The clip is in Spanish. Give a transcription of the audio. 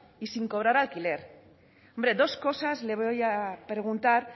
y sin cobrar alquiler hombre dos cosas le voy a preguntar